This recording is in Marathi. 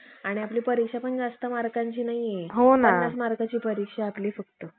आणि बाकी उरलेल्या, भाटातून कोणी कारकुनी, कोणी काही, कोणी काही असे ना ना प्रकारचे धंदे